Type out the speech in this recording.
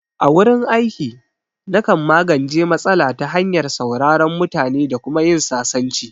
A wurin aiki, na kan magance matsala ta hanyar sauraron mutane da kuma yin sasanci